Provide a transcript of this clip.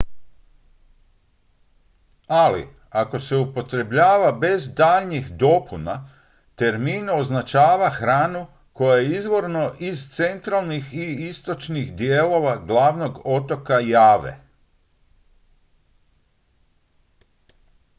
ali ako se upotrebljava bez daljnjih dopuna termin označava hranu koja je izvorno iz centralnih i istočnih dijelova glavnog otoka jave